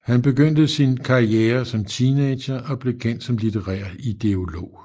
Han begyndte sin karriere som teenager og blev kendt som litterær ideolog